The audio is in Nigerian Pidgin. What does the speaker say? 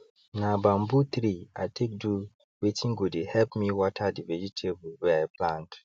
na bamboo tree i take do wetin go dey help me water the vegetable wey i plant